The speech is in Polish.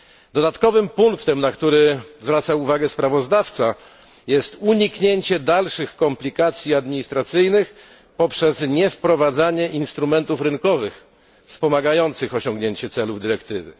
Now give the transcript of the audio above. Dodatkowym punktem, na który zwraca uwagę sprawozdawca, jest uniknięcie dalszych komplikacji administracyjnych poprzez niewprowadzanie instrumentów rynkowych, wspomagających osiągnięcie celów dyrektywy.